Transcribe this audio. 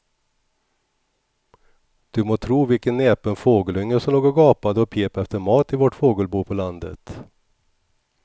Du må tro vilken näpen fågelunge som låg och gapade och pep efter mat i vårt fågelbo på landet.